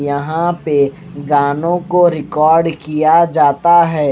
यहां पे गानों को रिकॉर्ड किया जाता हैं।